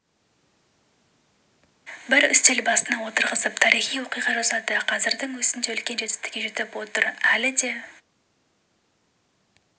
бір үстел басына отырғызып тарихи оқиға жасады қазірдің өзінде үлкен жетістікке жетіп отыр әлі де